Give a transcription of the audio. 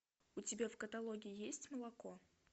у тебя в каталоге есть молоко